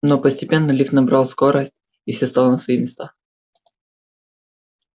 но постепенно лифт набрал скорость и все стало на свои места